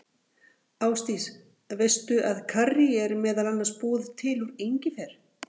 Ásdís, veistu að karrí er meðal annars búið til úr engifer?